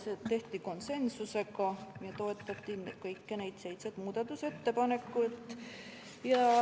Seda tehti konsensusega ja toetati kõiki seitset muudatusettepanekut.